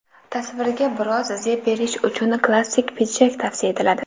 Tasvirga biroz zeb berish uchun klassik pidjak tavsiya etiladi.